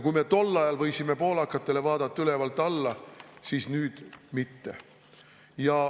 Kui me tol ajal võisime poolakatele vaadata ülevalt alla, siis nüüd mitte.